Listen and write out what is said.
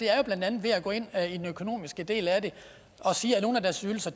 er blandt andet at gå ind i den økonomiske del af det og sige at nogle af deres ydelser